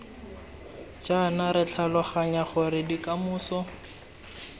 jaana re tlhaloganya gore bokamoso